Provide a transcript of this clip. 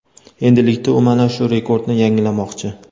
Endilikda u mana shu rekordni yangilamoqchi.